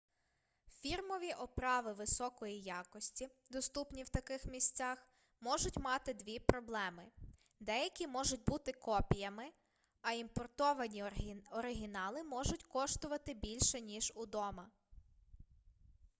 фірмові оправи високої якості доступні в таких місцях можуть мати дві проблеми деякі можуть бути копіями а імпортовані оригінали можуть коштувати більше ніж удома